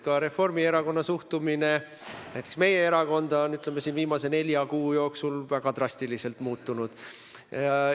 Ka Reformierakonna suhtumine meie erakonda on viimase nelja kuu jooksul väga drastiliselt muutunud.